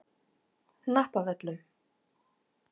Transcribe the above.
Hnappavöllum